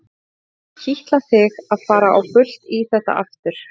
Það hefur kitlað þig að fara á fullt í þetta aftur?